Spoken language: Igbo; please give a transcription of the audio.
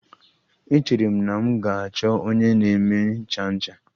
Echere m na m ga-achọ onye na-eme ncha ncha.